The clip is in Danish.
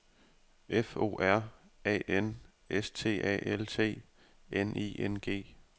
F O R A N S T A L T N I N G